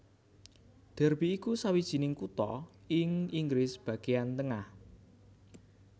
Derby iku sawijining kutha ing Inggris bagéan tengah